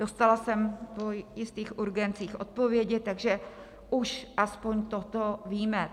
Dostala jsem po jistých urgencích odpovědi, takže už aspoň toto víme.